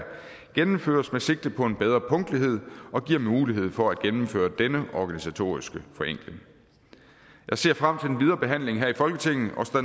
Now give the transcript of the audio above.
gennemføres med sigte på en bedre punktlighed og giver mulighed for at gennemføre denne organisatoriske forenkling jeg ser frem til den videre behandling her i folketinget og står